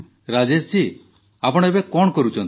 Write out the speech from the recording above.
ରାଜେଶଜୀ ଆପଣ କଣ କରୁଛନ୍ତି